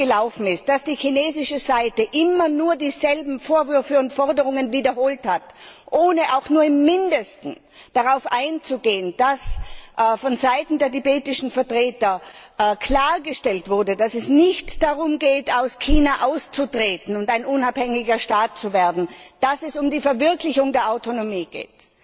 Bis jetzt ist es so gelaufen, dass die chinesische Seite immer nur dieselben Vorwürfe und Forderungen wiederholt hat, ohne auch nur im Mindesten darauf einzugehen, dass vonseiten der tibetischen Vertreter klargestellt wurde, dass es nicht darum geht, aus China auszutreten und ein unabhängiger Staat zu werden, sondern dass es um die Verwirklichung der Autonomie geht.